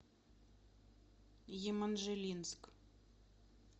еманжелинск